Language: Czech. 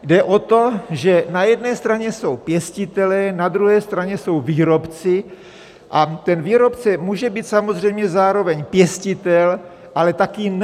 Jde o to, že na jedné straně jsou pěstitelé, na druhé straně jsou výrobci a ten výrobce může být samozřejmě zároveň pěstitel, ale také ne.